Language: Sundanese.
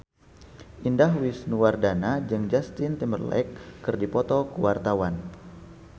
Indah Wisnuwardana jeung Justin Timberlake keur dipoto ku wartawan